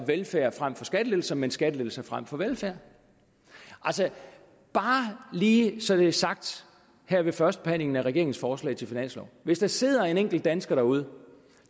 velfærd frem for skattelettelser men skattelettelser frem for velfærd bare lige så det er sagt her ved førstebehandlingen af regeringens forslag til finanslov hvis der sidder en enkelt dansker derude